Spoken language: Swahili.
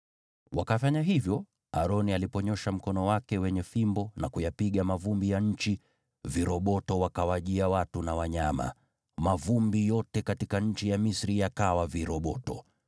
Wakafanya hivyo, Aroni aliponyoosha mkono wake wenye fimbo na kuyapiga mavumbi ya nchi, viroboto wakawajia watu na wanyama. Mavumbi yote katika nchi ya Misri yakawa viroboto.